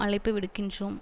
அழைப்பு விடுக்கின்றோம்